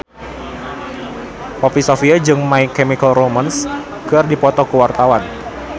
Poppy Sovia jeung My Chemical Romance keur dipoto ku wartawan